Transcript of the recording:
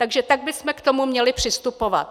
Takže tak bychom k tomu měli přistupovat.